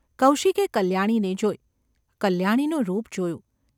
કૌશિકે કલ્યાણીને જોઈ. કલ્યાણીનું રૂપ જોયું.